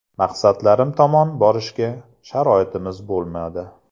Maqsadlarim tomon borishga sharoitimiz bo‘lmadi.